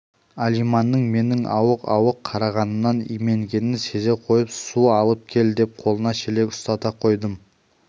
алиманның менің ауық-ауық қарағанымнан именгенін сезе қойып су алып кел деп қолына шелек ұстата қойдым